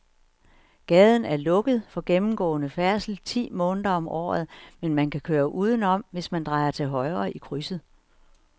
Gaden er lukket for gennemgående færdsel ti måneder om året, men man kan køre udenom, hvis man drejer til højre i krydset.